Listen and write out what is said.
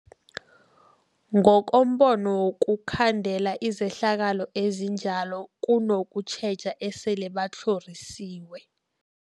Ngokombono wokukhandela izehlakalo ezinjalo kunokutjheja esele batlhorisiwe.